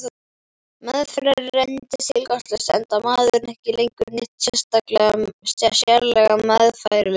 Meðferð reyndist tilgangslaus, enda maðurinn ekki lengur neitt sérlega meðfærilegur.